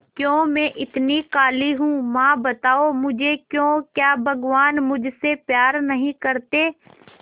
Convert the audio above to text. क्यों मैं इतनी काली हूं मां बताओ मुझे क्यों क्या भगवान मुझसे प्यार नहीं करते